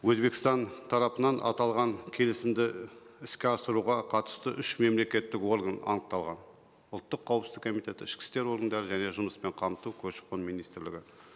өзбекстан тарапынан аталған келісімді іске асыруға қатысты үш мемлекеттік орган анықталған ұлттық қауіпсіздік комитеті ішкі істер органдары және жұмыспен қамту көші қон министрлігі